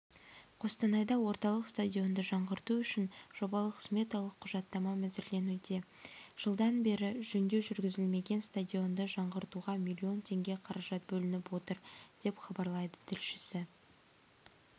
қостанайда орталық стадионды жаңғырту үшін жобалық-сметалық құжаттамаәзірленуде жылдан бері жөндеу жүргізілмеген стадионды жаңғыртуға миллион теңге қаражат бөлініп отыр деп хабарлайды тілшісі